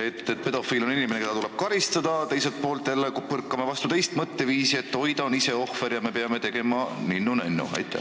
ühelt poolt on pedofiil inimene, keda tuleb karistada, teiselt poolt jälle põrkame vastu teist seisukohta, et oi, ta on ise ohver ja me peame teda ninnu-nännu kohtlema.